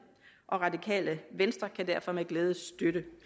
og radikale venstre kan derfor med glæde støtte